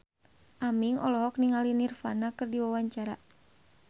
Aming olohok ningali Nirvana keur diwawancara